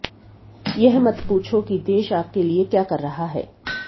यह मत पूछो की देश आपके लिए क्या कर रहा है